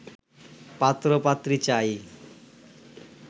পাত্র পাত্রী চাই